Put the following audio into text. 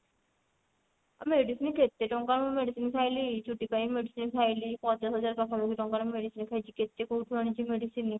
medicine କେତେ ଟଙ୍କା ମୁଁ medicine ଖାଇଲି ଚୁଟି ପାଇଁ medicine ଖାଇଲି ପଚାଶ ହଜାର ପାଖା ପାଖି ଟଙ୍କା ର medicine ଖାଇଛି କେତେ କଉଠୁ ଆଣିଛି medicine